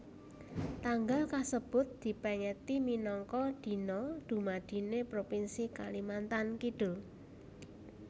Tanggal kasebut dipèngeti minangka Dina Dumadiné Propinsi Kalimantan Kidul